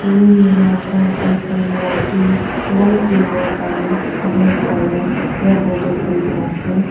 room laga background wall to light yellow aru black colour para border kori kina ase.